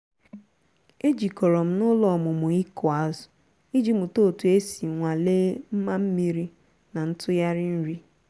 e jikọrọ m n'ụlọ ọmụmụ ịkụ azụ iji mụta otu esi nwalee mma mmiri na ntụgharị nri.